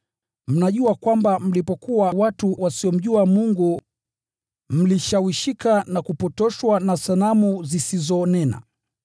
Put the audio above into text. Mnajua kwamba mlipokuwa watu wasiomjua Mungu, kwa njia moja au ingine mlishawishika na kupotoshwa mkielekezwa kwa sanamu zisizonena.